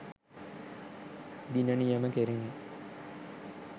දින නියම කෙරිණි